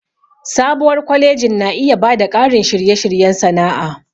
Sabuwar kwalejin na iya ba da ƙarin shirye-shiryen sana'a.